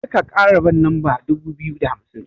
Karka kara ban lamba dubu biyu da hamsin.